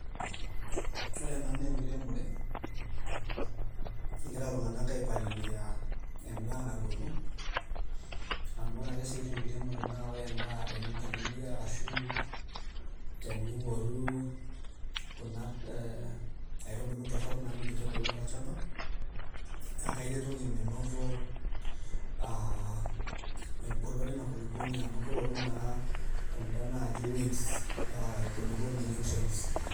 Ore ena naa enkiremore, egira iltung'anak aipalilia en'daa natuuno. amu ore ake si tenkiremore naa ore en'daa naa tenimpalilia arashu teniworu Kuna aitubulu torok namitiki ebulu tolchamba naa kairetoki menoto aa eng'olon Ina kulukwoni amu keoru naa kunda naji weeds aa enkulupuoni nutrients.